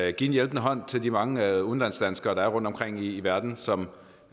at give en hjælpende hånd til de mange udlandsdanskere der er rundtomkring i verden som